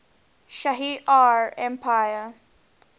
shi ar empire